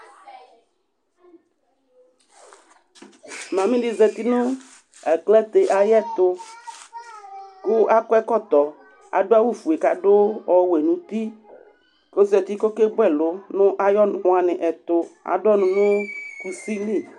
Mami di zati nʋ aklate ay'ɛtʋ kʋ ak'ɛkɔtɔ, adʋ awʋ fue k'adʋ ɔwɛ n'uti Ozati kʋ ɔkebu ɛlʋ nʋ ay'ɔnʋ waniɛtʋ Adʋ ɔnʋ nʋ kusi li